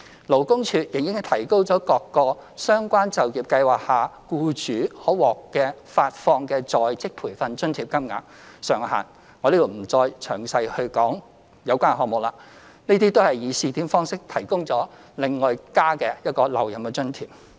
勞工處亦已提高各個相關就業計劃下僱主可獲發放的在職培訓津貼金額上限，在此我不再詳細講述有關項目了，這些計劃亦均以試點方式提供額外留任津貼。